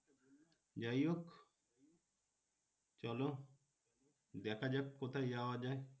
যাই হোক চলো দেখা যাক কোথায় যাওয়া যায়।